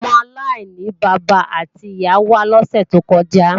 Ọmọ aláìní bàbá àti ìyá wá lọ́sè tó kọjá